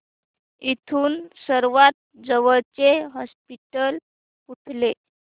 इथून सर्वांत जवळचे हॉस्पिटल कुठले